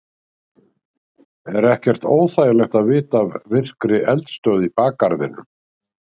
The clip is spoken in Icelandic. Er ekkert óþægilegt að vita af virkri eldstöð í bakgarðinum?